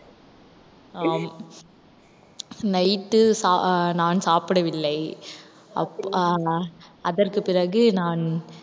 ஆம் night உ சாப்~ அஹ் நான் சாப்பிடவில்லை அப்~ ஆஹ் ஆனால் அதற்கு பிறகு நான்,